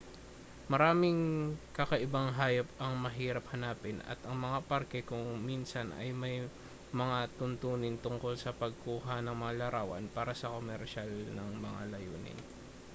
maraming kakaibang hayop ang mahirap hanapin at ang mga parke kung minsan ay may mga tuntunin tungkol sa pagkuha ng mga larawan para sa komersyal ng mga layunin